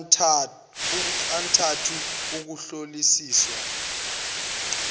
obunxantathu ukuhlolisisiwa kwengcuphe